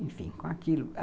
Enfim, com aquilo.